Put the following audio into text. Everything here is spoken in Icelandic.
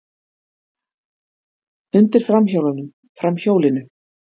Undir framhjólunum, framhjólinu.